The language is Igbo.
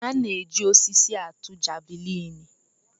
A na-eji osisi atụ javelin.